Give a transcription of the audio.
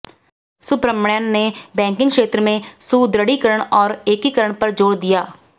सुब्रमण्यन ने बैंकिंग क्षेत्र में सुदृढ़ीकरण और एकीकरण पर जोर दिया